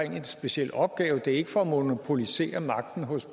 af en speciel opgave det er ikke for at monopolisere magten hos